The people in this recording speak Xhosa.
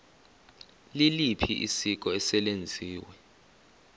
liliphi isiko eselenziwe